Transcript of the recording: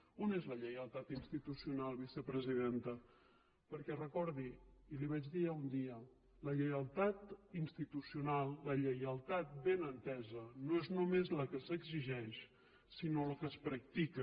on és la lleialtat institucional vicepresidenta perquè recordi ho i li ho vaig dir ja un dia la lleialtat institucional la lleialtat ben entesa no és només la que s’exigeix sinó la que es practica